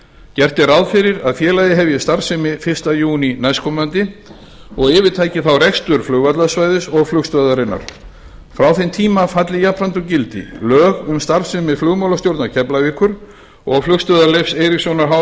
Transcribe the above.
gert er ráð fyrir að félagið hefji starfsemi fyrsta júní á þessu ári og yfirtaki þá rekstur flugvallarsvæðisins og flugstöðvarinnar frá þeim tíma falli jafnframt úr gildi lög um starfsemi flugmálastjórnar keflavíkur og flugstöðvar leifs eiríkssonar h